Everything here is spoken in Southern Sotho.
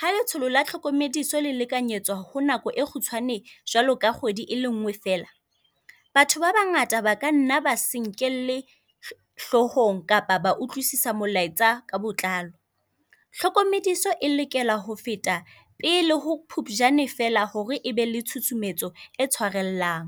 Ha letsholo la tlhokomediso lekanyetswa ho nako e kgutshwane jwalo ka kgwedi, e lengwe fela. Batho ba bangata ba ka nna ba se nkelle hlohong kapa ba utlwisasa molaetsa ka botlalo. Hlokomediso e lokela ho feta pele ho Phuphujane fela hore ebe le tshusumetso e tshwarellang.